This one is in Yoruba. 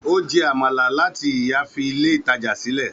Ó jẹ amala láti ìyá fi ilé ìtajà sílẹ̀